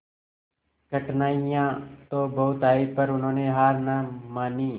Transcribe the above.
कठिनाइयां तो बहुत आई पर उन्होंने हार ना मानी